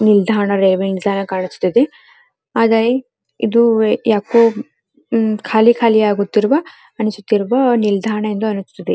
ನಿಲ್ದಾಣ ವೆವಿಂಗ್ ತರ ಕಾಣಿಸುತ್ತಿದೆ ಆದರೆ ಯಾಕೋ ಇದು ಖಾಲಿ ಖಾಲಿ ಆಗುತ್ತಿರುವ ಅನಿಸುತ್ತಿರುವ ನಿಲ್ದಾಣಾ ಅನಿಸುತ್ತಿದೆ.